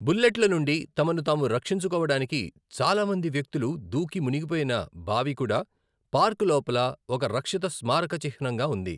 బుల్లెట్ల నుండి తమను తాము రక్షించుకోవడానికి చాలా మంది వ్యక్తులు దూకి మునిగిపోయిన బావి కూడా పార్క్ లోపల ఒక రక్షిత స్మారక చిహ్నంగా ఉంది.